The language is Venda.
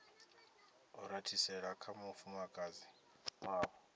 i rathisela kha mufumakadzi wavho